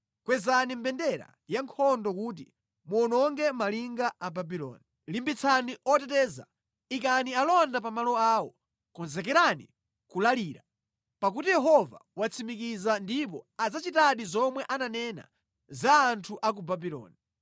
Kwezani mbendera yankhondo kuti muwononge malinga a Babuloni! Limbitsani oteteza, ikani alonda pa malo awo, konzekerani kulalira. Pakuti Yehova watsimikiza ndipo adzachitadi zomwe ananena za anthu a ku Babuloni.